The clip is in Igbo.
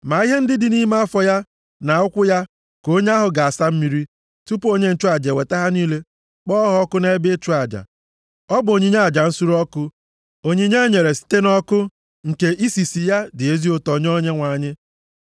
Ma ihe ndị dị nʼime afọ ya, na ụkwụ ya, ka onye ahụ ga-asa mmiri, tupu onye nchụaja eweta ha niile kpọọ ha ọkụ nʼebe ịchụ aja. Ọ bụ onyinye aja nsure ọkụ, onyinye e nyere site nʼọkụ, nke isisi ya dị ezi ụtọ nye Onyenwe anyị.